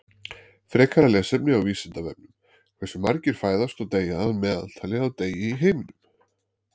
Frekara lesefni á Vísindavefnum Hversu margir fæðast og deyja að meðaltali á dag í heiminum?